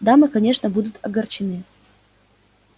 дамы конечно будут огорчены